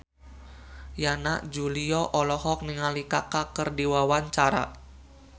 Yana Julio olohok ningali Kaka keur diwawancara